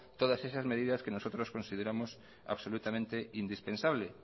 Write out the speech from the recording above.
todas esas medidas que nosotros consideramos absolutamente indispensable